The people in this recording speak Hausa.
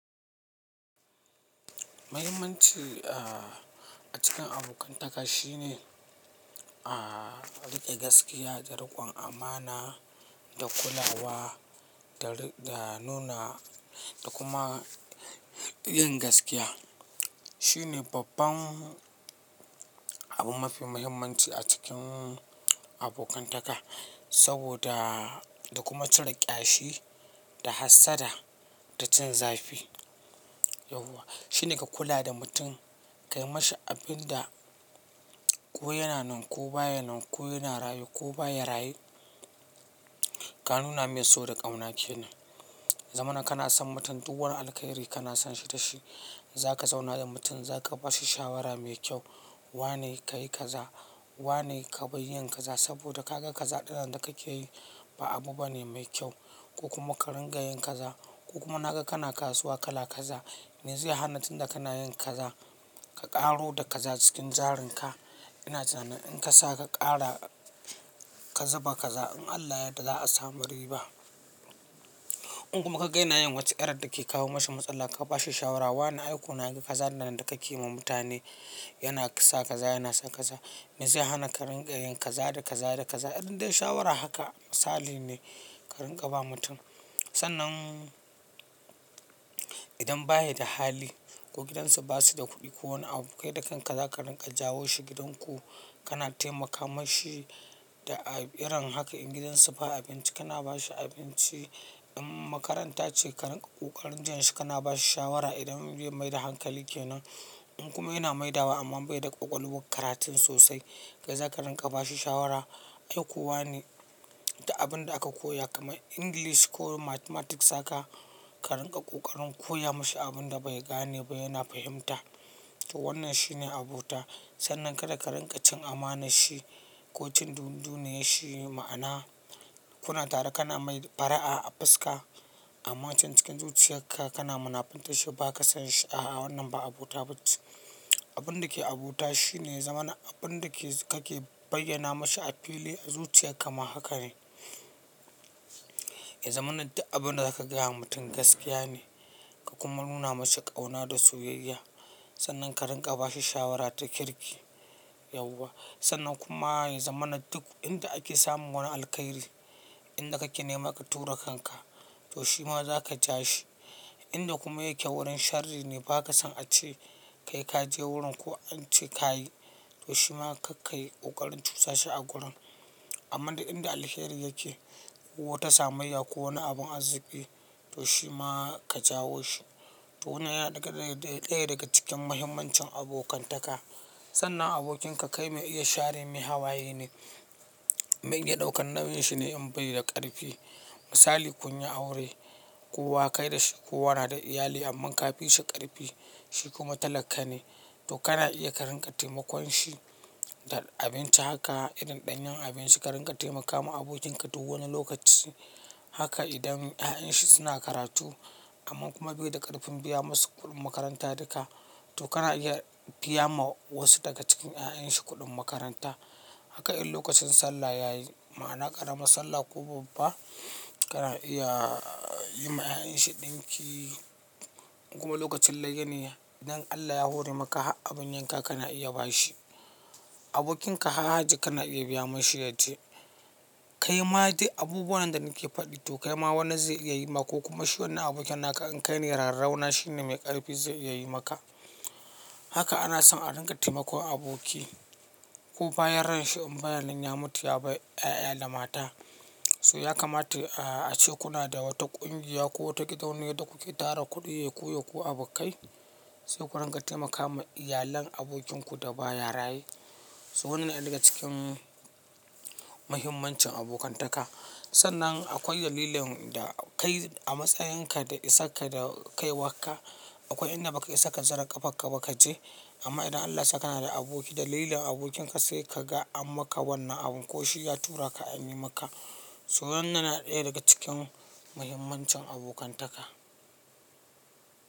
Muhimmanci a cikin abokantaka shine riƙe gaskiya da riƙon amana da kulawa da nuna da kuma yin gaskiya. Shi ne babban abu mafi muhimmanci a cikin abokantaka saboda da kuma cire ƙyashi da hassada da cin zafi. Yauwa. Shi ne ka kula da mutum, ka yi mashi abin da ko yana nan ko baya nan, ko yana raye ko baya raye. Ka nuna mai so da ƙauna ke nan. Zamana kana son mutum, duk wani alkairi kana son shi da shi. Za ka zauna da mutum, za ka ba shi shawara mai kyau. Wa ne ka yi kaza, wa ne ka bai yi kaza saboda ka ga kaza ɗin da kake yi ba abu bane mai kyau, ko kuma ka ringa yin kaza, ko kuma na ga kana kasuwa ka la kaza. Me zai hana tun da kana yin kaza, ka ƙaro da kaza cikin jarinka. Ina tunanin ka sa ka ƙara kazuba kaza, in Allah ya da za a sami riba. In kuma ka ga yana yin wace irar da ke kawo mashi matsala, ka ba shi shawara. Wani aiko na ga kaza nan da kake yi wa mutane yana kasa kaza, yana saka kaza. Me zai hana ka ringa yin kaza da kaza da kaza? Irin dai shawara haka misali ne ka rinƙa ba mutum. Sannan idan baya da hali ko gidansu ba su da kuɗi ko wani abu, kai dakan ka za ka rinƙa jawo shi gidanku, kana taimaka mashi da iran haka in gidansu ba abinci, kana ba shi abinci. In makaranta ce ka rinƙa kokarin jian shi kana ba shi shawara. Idan bai mai da hankali ke nan, in kuma yana maidawa amman bai da ƙwaƙwalwar karatun sosai, kai za ka rinƙa ba shi shawara. Aiko wa ne da abin da aka koya kamar english ko mathematics haka ka rinƙa ƙoƙarin koya mashi abin da bai gane ba yana fahimta. To wannan shi ne abota. Sannan kada ka rinƙa cin amanar shi ko cin duniyar shi ma'ana kuna tare kana mai far'a a fuska amma can cikin zuciyarka kana munafunta shi ba ka son shi a wannan ba abota ba ce. Abin da ke abota shi ne zamana abin da kake bayyana mashi a fili a zuciya kama haka ne. I zamanin da abin da za ka gaya wa mutum gaskiya ne ka kuma nuna mashi ƙauna da soyayya, sannan ka rinƙa ba shi shawara ta kirki. Yauwa. Sannan kuma zamanin duk inda ake samun wani alkairi, inda kake nema ka tura kanka to shi ma za ka ja shi. Inda kuma yake wurin shari ne ba ka son a ce kai ka je wurin ko an ce ka yi, to shi ma ka kai ƙoƙarin cusa shi a gurin. Amma dai inda alkairi yake, wata samayya ko wani abun arziki, to shi ma ka jawo shi. To wannan yana ɗaya daga cikin muhimmancin abokantaka. Sannan abokinka kai mai iya share mai hawaye ne, mai iya ɗaukan nauyin shi ne in bai da ƙarfi. Misali kun yi aure, kai da shi kowa na da iyali amma ka fi shi ƙarfi, shi kuma talaka ne, to kana iya ka rinƙa taimakon shi da abinci haka idan ɗanyen abinci ka rinƙa taimakawa abokinka duk wani lokaci. Haka idan 'ya'yan shi suna karatu amma kuma bai da ƙarfin biya masu kuɗin makaranta duka, to kana iya biya ma wasu daga cikin 'ya'yan shi kuɗin makaranta. Haka in lokacin Sallah ya yi, ma'ana ƙaramar salla ko babba, kana iya yi ma 'ya'yan shi ɗinki. Kuma lokacin layya ne, idan Allah ya hore maka abin yanka kana iya ba shi. Abokinka har hajji kana iya biya mashi yaje, "Kai ma duk abubuwan da nake faɗi to kai ma wani zai iya yi maka ko kuma shi wani abokin naka in kai ne rarrauna shi ne mai ƙarfi zai iya yi maka." Haka ana son a rinƙa taimakon aboki. Ko bayan ransa in bayan nan ya mutu ya bar 'ya'ya da mata, su ya kamata a ce kuna da wata ƙungiya ko wata gida wanda kuke tara kuɗi ya ku ya ku abokai, sai ku rinƙa taimakawa iyalan abokinku da baya raye. So wannan yana ɗaya daga cikin muhimmancin abokantaka. Sannan akwai dalilin da kai a matsayin ka da isar ka da kaiwa ka, akwai inda baka isa ka zara ƙafarka ba ka je amma idan Allah sa kana da aboki dalilin abokinka sai ka ga an maka wannan abun ko shi ya tura ka an yi maka. So wannan yana ɗaya daga cikin muhimmancin abokantaka.